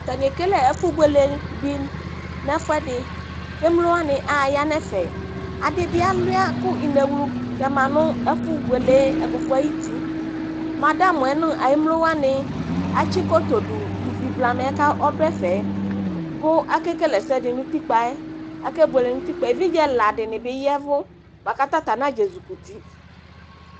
Atani ekele ɛfu buele di nu ɛfuɛdi ku emlowani aya nu ɛfɛ adi bi alua ku inɣlu tɛma nu ɛfɛ ɛfu buele ɛkufue ayu uti nu emlowani atsi godoo du ivi blamɛ ku ɔdu ɛfɛ ku akekele ɛsɛdi nu utikpa yɛ evidze ɛla dini bi yɛvu bi ku atani bi nadze zikuti